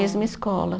Mesma escola.